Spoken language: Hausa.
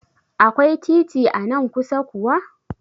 Akwai titi anan kusa kuwa?